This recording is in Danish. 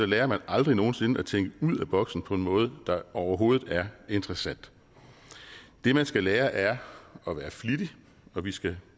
lærer man aldrig nogen sinde at tænke ud af boksen på en måde der overhovedet er interessant det man skal lære er at være flittig og vi skal